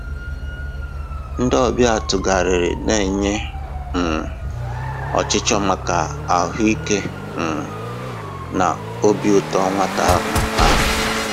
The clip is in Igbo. Ndị ọbịa tụgharịrị na-enye um ọchịchọ maka ahụike um na obi ụtọ nwata ahụ. ahụ.